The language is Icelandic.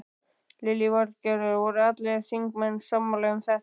Lillý Valgerður: Voru allir þingmenn sammála um þetta?